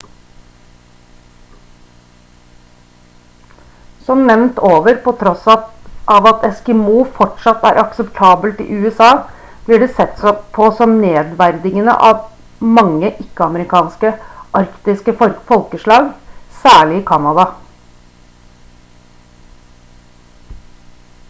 som nevnt over på tross av at «eskimo» fortsatt er akseptabelt i usa blir det sett på som nedverdigende av mange ikke-amerikanske arktiske folkeslag særlig i canada